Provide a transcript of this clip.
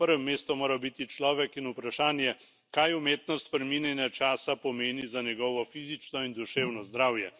Na prvem mestu morata biti človek in vprašanje, kaj umetno spreminjanje časa pomeni za njegovo fizično in duševno zdravje.